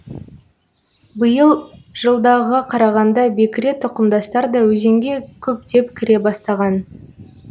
биыл жылдағыға қарағанда бекіре тұқымдастар да өзенге көптеп кіре бастаған